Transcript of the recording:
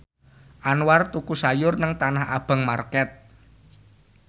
Anwar tuku sayur nang Tanah Abang market